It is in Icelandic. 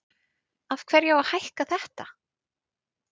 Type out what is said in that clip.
Af hverju á að hækka þetta?